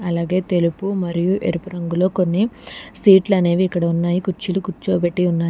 అలాగే తెలుపు మరియు ఎరుపు రంగులో కొన్ని సీట్లు అనేవి ఇక్కడ ఉన్నాయి కుర్చీలో కూర్చోబెట్టి ఉన్నాయి.